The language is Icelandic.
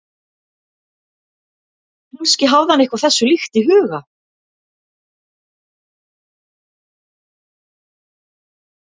Kannski hafði hann eitthvað þessu líkt í huga.